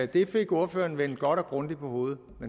det fik ordføreren vendt godt og grundigt på hovedet